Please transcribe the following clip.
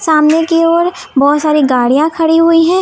आमने की ओर बहुत सारी गाड़ियां खड़ी हुई है।